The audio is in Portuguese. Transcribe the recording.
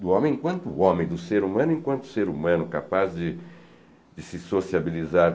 Do homem enquanto homem, do ser humano enquanto ser humano, capaz de de se sociabilizar.